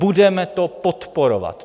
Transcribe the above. Budeme to podporovat!